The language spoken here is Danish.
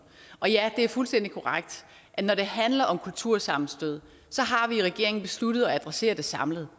ja det er fuldstændig korrekt at når det handler om kultursammenstød så har vi i regeringen besluttet at adressere det samlet